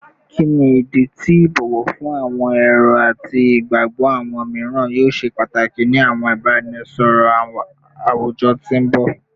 Kini idi ti ibowo fun awọn ero ati igbagbọ awọn miiran yoo ṣe pataki ni awọn ibaraenisọrọ awujọ ti n bọ?